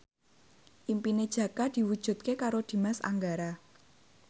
impine Jaka diwujudke karo Dimas Anggara